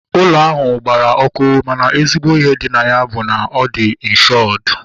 Ụlọ ahụ gbara ọkụ mana ezigbo ihe dị na ya bụ na ọ dị inshọdu